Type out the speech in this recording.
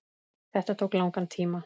Þetta tók langan tíma.